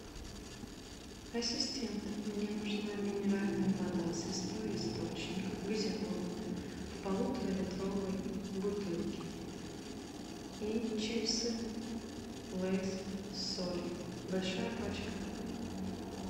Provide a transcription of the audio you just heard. ассистент мне нужна минеральная вода святой источник газированная в полуторалитровой бутылке и чипсы лейс с солью большая пачка